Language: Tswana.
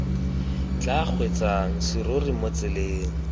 tla kgweetsang serori mo tseleng